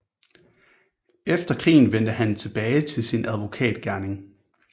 Efter krigen vendte han tilbage til sin advokat gerning